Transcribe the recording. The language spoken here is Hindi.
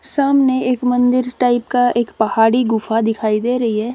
सामने एक मंदिर टाइप का एक पहाड़ी गुफा दिखाई दे रही है।